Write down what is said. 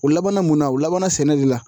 O labanna mun na o labanna sɛnɛ de la